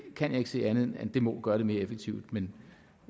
kan ikke se andet end at det må gøre det mere effektivt men